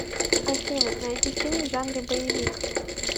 афина найди фильм в жанре боевик